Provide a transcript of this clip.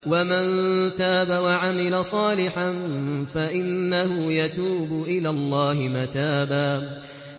وَمَن تَابَ وَعَمِلَ صَالِحًا فَإِنَّهُ يَتُوبُ إِلَى اللَّهِ مَتَابًا